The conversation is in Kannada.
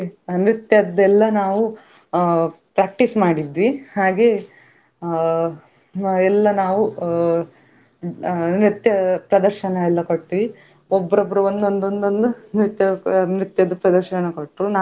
ಆ ಬೇರೆ ಬೇರೆ ರೀತಿಯ ಮೀನು ಹಾಗೆ ಮತ್ತೇ ನಮ್ಗೆ, ಆ ಅಲ್ಲೇಸ ಮನುಷ್ಯರ ಆ ಮನುಷ್ಯ ಆ ಮೂಳೆಗಳ ಬಗ್ಗೆ ಆಗಿರ್ಬೋದು ಎಲ್ಲಾದ್ರ ಬಗ್ಗೆ ಅಲ್ಲಿ ಮಾಹಿತಿಸ ಕೊಟ್ರು ಅಂದ್ರೆ ಆ ಕಾ~.